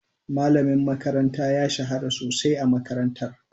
Malamin makaranta ya shahara sosai a makarantar.